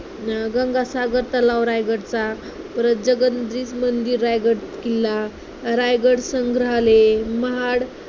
गंगासागर तलाव रायगडचा, परत जगदीश्वर मंदिर रायगड किल्ला, रायगड संग्रहालय, महाड